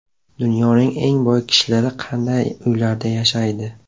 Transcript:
Dunyoning eng boy kishilari qanday uylarda yashaydi?